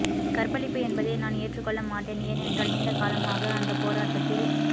கற்பழிப்பு என்பதை நான் ஏற்றுக்கொள்ள மாட்டேன் ஏனென்றால் நீண்டகலமாக அந்தப் போராட்டத்தில்